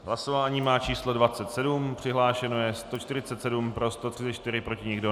Hlasování má číslo 27, přihlášeno je 147, pro 134, proti nikdo.